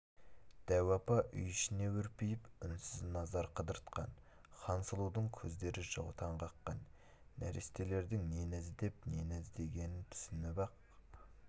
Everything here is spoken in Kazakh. дәу апа үй ішіне үрпиіп үнсіз назар қыдыртқан хансұлудың көздері жаутаң қаққан нәрестелердің нені іздеп нені көздегенін түсініп-ақ